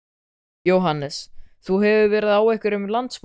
Jóhannes: Þú hefur verið á einhverjum landsmótum?